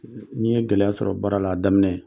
N'i ye gɛlɛya sɔrɔ baara la a daminɛ